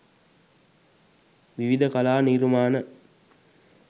විවිධ කලා නිර්මාණ